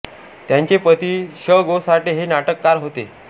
त्यांचे पती शं गो साठे हे नाटककार होते